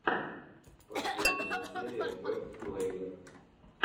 последняя серия бэст плэер